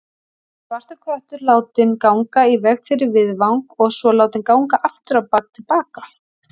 Svartur köttur látinn ganga í veg fyrir viðfang og svo látinn ganga afturábak til baka.